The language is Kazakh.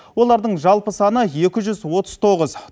олардың жалпы саны екі жүз отыз тоғыз